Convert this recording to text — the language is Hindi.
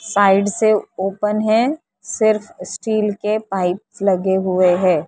साइड से ओपन है सिर्फ स्टील के पाइप लगे हुए है।